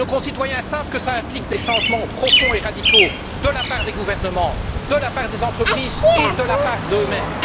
Et nos concitoyens savent que cela implique des changements profonds et radicaux de la part des gouvernements, de la part des entreprises et de la part d'eux mêmes.